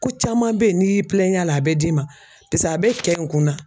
Ko caman be ye n'i y'i a la a be d'i ma pese a be kɛ in kun na